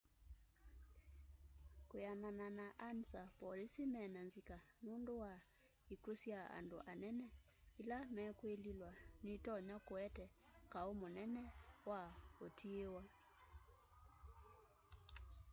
kwianana na ansa polisi mena nzika nundu wa ikw'u sya andu anene ila mekwiliwa nitonya kuete kau munene wa utiiwa